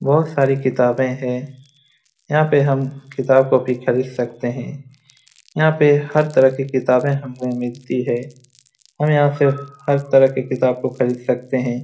बहुत सारी किताबे हैं | यहाँ पे हम किताब कॉपी खरीद सकते हैं | यहाँ पे हर तरह की किताबें हमें मिलती है हम यहाँ से हर तरह की किताबों को खरीद सकते हैं ।